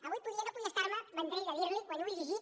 avui no podia estar·me vendrell de dir·li·ho quan ho he llegit